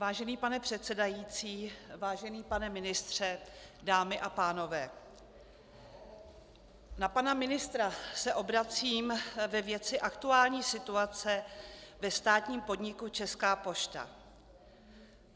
Vážený pane předsedající, vážený pane ministře, dámy a pánové, na pana ministra se obracím ve věci aktuální situace ve státním podniku Česká pošta.